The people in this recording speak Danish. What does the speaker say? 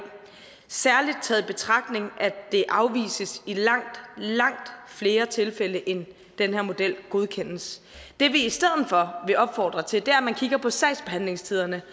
særlig taget i betragtning at det afvises i langt langt flere tilfælde end den her model godkendes det vi i stedet for vil opfordre til er at man kigger på sagsbehandlingstiderne